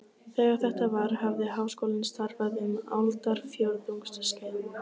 Þegar þetta var, hafði Háskólinn starfað um aldarfjórðungs skeið.